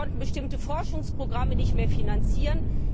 Wir konnten bestimmte Forschungsprogramme nicht mehr finanzieren.